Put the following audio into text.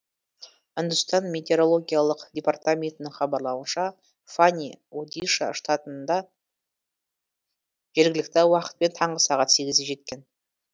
үндістан метеорологиялық департаментінің хабарлауынша фани одиша штатына жергілікті уақытпен таңғы сағат сегізде жеткен